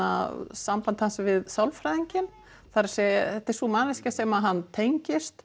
samband hans við sálfræðinginn það er þetta er sú manneskja sem hann tengist